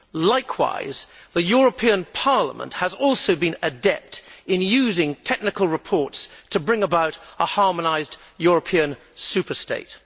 Likewise, the European Parliament has also been adept in using technical reports to bring about a harmonised European superstate.